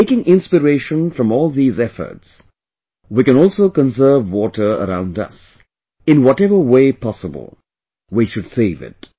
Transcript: taking inspiration from all of these efforts, we can also conserve water around us, in whatever way possible... we should save it